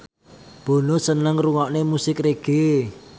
Bono seneng ngrungokne musik reggae